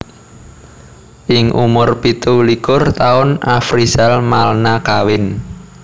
Ing umur pitu likur taun Afrizal Malna kawin